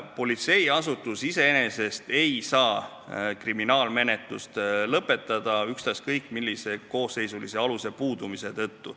Politseiasutus iseenesest ei saa kriminaalmenetlust lõpetada ükstaskõik millise koosseisulise aluse puudumise tõttu.